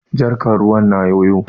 Jarkar ruwan na yoyo.